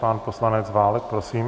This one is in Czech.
Pan poslanec Válek, prosím.